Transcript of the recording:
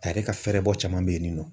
A yɛrɛ ka fɛrɛbɔ caman bɛ yen nin nɔ.